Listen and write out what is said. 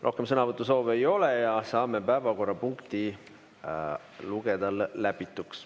Rohkem sõnavõtusoove ei ole ja saame päevakorrapunkti lugeda läbituks.